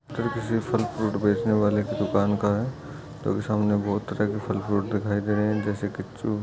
किसी फल फ्रूट बेचने वाले की दुकान का है जो कि सामने बोहत तरह के फल फ्रूट दिखाई दे रहे हैं जैसे की चु --